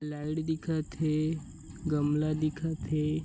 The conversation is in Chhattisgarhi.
लाइट दिखत हे गमला दिखत हे।